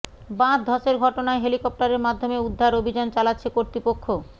বাঁধ ধসের ঘটনায় হেলিকপ্টারের মাধ্যমে উদ্ধার অভিযান চালাচ্ছে কর্তৃপক্ষ